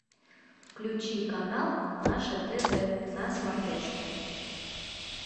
включи канал наше тв на смотрешке